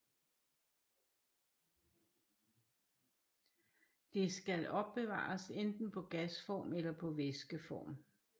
Det skal opbevares enten på gasform eller på væskeform